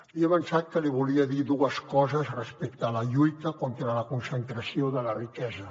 li he avançat que li volia dir dues coses respecte a la lluita contra la concentració de la riquesa